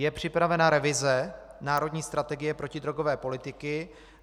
Je připravena revize národní strategie protidrogové politiky.